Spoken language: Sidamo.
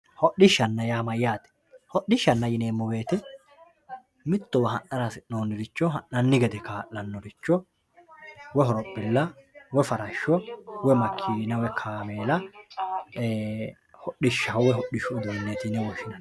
hodhishshanna yaa mayaate hodhishshanna yineemo woyiite mittowa ha'nara hasi'nooniricho ha'nanni gede kaa'lanoricho woy horophila woy farashsho woy makiina woy kaamela hodhishshaho woye hodhishshu uduuneeti yine woshshinanni.